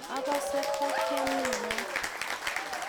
Agase takiam miwat.